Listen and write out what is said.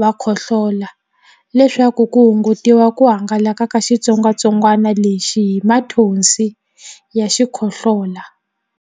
va khohlola leswaku ku hungutiwa ku hangalaka ka xitsongwantsongwana lexi hi mathonsi ya xikhohlola.